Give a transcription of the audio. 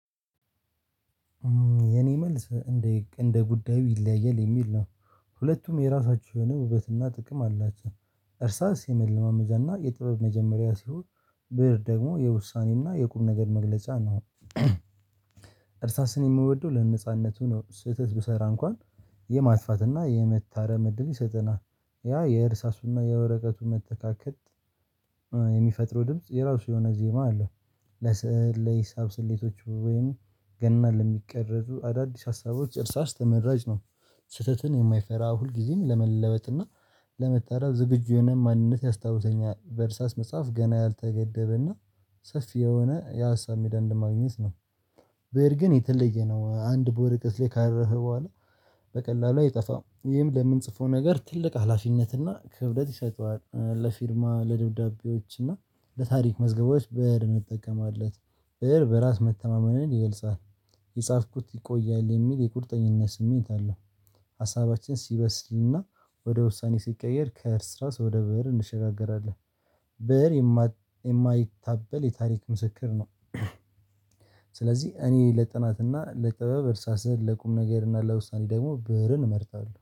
የኔ መልስ እንደ እንደ ጉዳዩ ይለያያል የሚል ነው። ሁለቱም የራሳችሁ የሆነ ውበትና ጥቅም አላቸው። እርሳስ የመለማመጃና የጥበብ መጀመሪያ ሲሆን ብእር ደግሞ የውሳኔና የቁር ነገር መግለጫ ነው። እርሳስን የምወደው ለነጻነቱ ነው ስህተት ብሰራ እንኳን የማስፋት እና የመታረም እድል ይሰጠናል። ያ የእርሳሱና የወረቀቱ መተካከት የሚፈጥሩ ድምጽ የራሱ የሆነ ዜማ አለው። ለስዕል ለሂሳብ ስሌቶች ወይም ገና ለሚቀረዙ አዳዲስ ሀሳቦች እርሳስ ተመራጭ ነው። ስህተትን የማይፈራ ሁልጊዜም ለመለበጥና ለመጠረብ ዝግጁ የሆነ ማንነት ያስታውሰኛል በእርሳስ መጽሐፍ ገና ያልተገደበ እና ሰፊ የሆነ የሀሳብ ሜዳ እንደማግኘት ነው። ብእር ግን የተለየ ነው አንድ በወረቀት ላይ ካረፈ በኋላ በቀላሉ አይጠፋም። ይህም ለምንጽፈው ነገር ትልቅ ሀላፊነት እና ክብደት ይሰጠዋል ለፊርማ ለደብዳቤዎች እና ለታሪክ መዝገቦች ብእር እንጠቀማለን። ብእር በራስ መተማመንን ይገልጻል የጻፍኩት ይቆያል የሚል የቁርጠኝነት ስሜት አለው። ሀሳባችን ሲበስልና ወደ ውሳኔ ሲቀየር ከእርስራስ ወደ ብእር እንሸጋገራለን። ብእር የማይታበል የታሪክ ምስክር ነው። ስለዚህ እኔ ለጥናት እና ለጥበብ እርሳስን ለቁም ነገርና ለውሳኔ ደግሞ ብእርን እመርጣለሁ